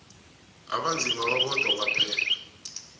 abanzima babodwa kwaphela